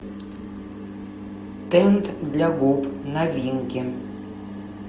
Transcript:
тент для губ новинки